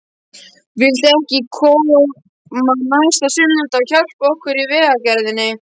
Viltu ekki koma næsta sunnudag og hjálpa okkur í vegagerðinni?